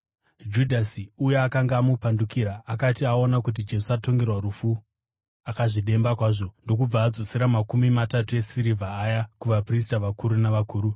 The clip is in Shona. Judhasi uya akanga amupandukira akati aona kuti Jesu atongerwa rufu, akazvidemba kwazvo ndokubva adzosera makumi matatu esirivha aya kuvaprista vakuru navakuru.